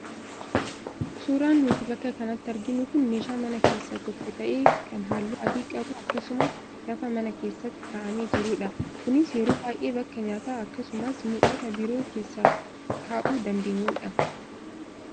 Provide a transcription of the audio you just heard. Suuraan nuti bakka kanatti arginu kun meeshaa mana keessaa tokko ta'ee kan halluu adii qabu akkasumas lafa mana keessa kaa'amee jirudha. Kunis yeroo baay'ee bakka nyaata akkasumas mi'oota biroo keessa kaa'uu dandeenyudha.